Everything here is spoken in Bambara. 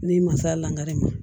N'i ma se a la dɛ